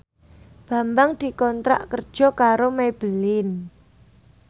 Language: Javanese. Bambang dikontrak kerja karo Maybelline